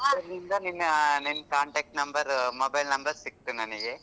ನಿನ್ನ್ ನಿನ್ನ್ contact number, mobile number ಸಿಕ್ತು ನನಿಗೆ.